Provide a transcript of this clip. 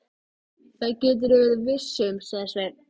Nú er farið að hitna í kolunum.